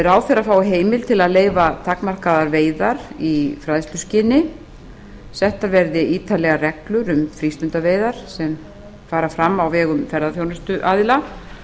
ráðherra fái heimild til að leyfa takmarkaðar veiðar í fræðsluskyni settar verði ítarlegar reglur um frístundaveiðar sem fara fram á vegum ferðaþjónustuaðila